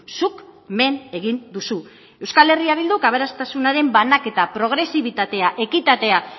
zuk men egin duzu euskal herria bilduk aberastasunaren banaketa progresibitatea ekitatea